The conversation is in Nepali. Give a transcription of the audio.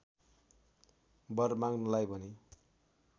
वर माँग्नलाई भने